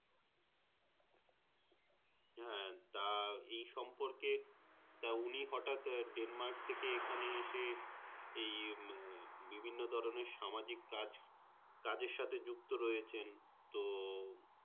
হ্যাঁ তা এই সম্পর্কে তা উনি হটাৎ Denmark থেকে এখানে এসে এই বিভিন্ন ধরণের সামাজিক কাজ কাজের সাথে যুক্ত রয়েছেন তো